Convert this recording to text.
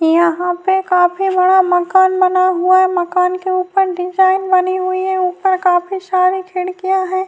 یہاں پی کافی بڑا مکان بنا ہوا ہے۔ مکان کے اپر ڈیزائن بنی ہی ہے۔ اپر کافی سارے خدکیہ ہے۔